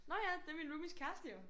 Nå ja det er min roomies kæreste jo